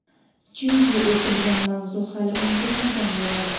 chunki o‘tilgan mavzu hali unutilmagan bo‘ladi.